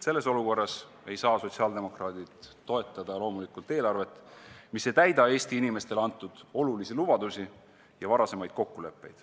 Selles olukorras ei saa sotsiaaldemokraadid loomulikult toetada eelarvet, mis ei täida Eesti inimestele antud olulisi lubadusi ja varasemaid kokkuleppeid,